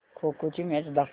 खो खो ची मॅच दाखव